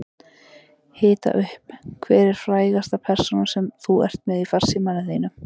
Hita upp Hver er frægasta persónan sem þú ert með í farsímanum þínum?